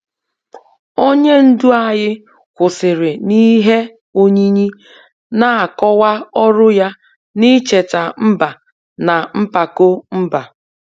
Onye ndu anyị kwụsịrị n'ihe oyiyi, na-akọwa ọrụ ya n'icheta mba na mpako mba.